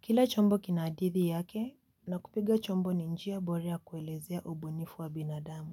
Kila chombo kina hadithi yake na kupiga chombo ni njia bora ya kuelezea ubunifu wa binadamu.